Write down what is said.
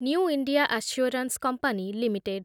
new India assurance company limited